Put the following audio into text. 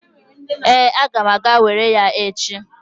Ee, aga m aga were ya echi.